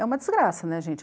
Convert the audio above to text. É uma desgraça, né, gente?